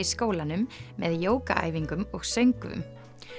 skólanum með og söngvum